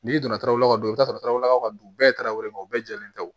N'i donna taw la ka don i t'a sɔrɔ taw la ka don bɛɛ ye tarawele bɛɛ jɛlen tɛ o